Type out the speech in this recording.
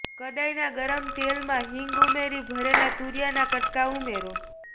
કડાય ના ગરમ તેલ માં હિંગ ઉમેરી ભરેલા તુરિયા ના કટકા ઉમેરો